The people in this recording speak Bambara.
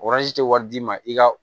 tɛ wari di ma i ka